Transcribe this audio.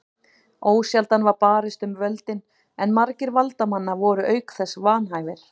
Ósjaldan var barist um völdin en margir valdamanna voru auk þess vanhæfir.